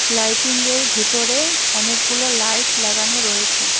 লাইটিংয়ের ভেতরে অনেকগুলো লাইট লাগানো রয়েছে।